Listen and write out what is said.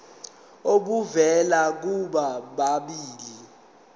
obuvela kubo bobabili